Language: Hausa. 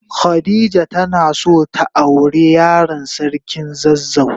Khadijah tana son ta aure Yaran sarkin zazzau.